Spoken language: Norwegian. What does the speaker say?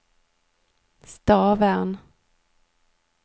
Stavern